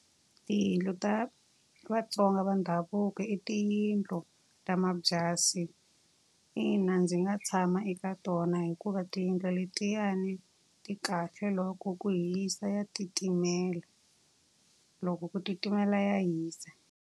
Tiyindlu ta vaTsonga va ndhavuko i tiyindlu ta mabyasi. Ina ndzi nga tshama eka tona hikuva tiyindlu letiyani ti kahle. Loko ku hisa ya titimela, loko ku titimela ya hisa.